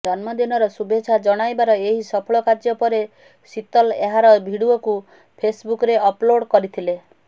ଜନ୍ମଦିନର ଶୁଭେଚ୍ଛା ଜଣାଇବାର ଏହି ସଫଳ କାର୍ଯ୍ୟ ପରେ ଶିତଲ ଏହାର ଭିଡିଓକୁ ଫେସବୁକରେ ଅପଲୋଡ୍ କରିଥିଲେ